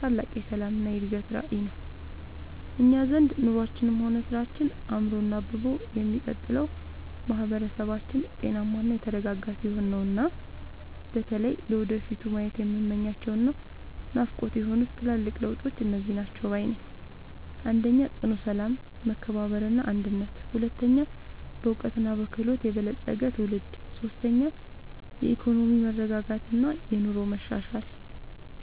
ታላቅ የሰላምና የእድገት ራዕይ ነው! እኛ ዘንድ ኑሯችንም ሆነ ስራችን አምሮና አብቦ የሚቀጥለው ማህበረሰባችን ጤናማና የተረጋጋ ሲሆን ነውና። በተለይ ለወደፊቱ ማየት የምመኛቸውና ናፍቆቴ የሆኑት ትልልቅ ለውጦች እነዚህ ናቸው ባይ ነኝ፦ 1. ጽኑ ሰላም፣ መከባበርና አንድነት 2. በዕውቀትና በክህሎት የበለፀገ ትውልድ 3. የኢኮኖሚ መረጋጋትና የኑሮ መሻሻል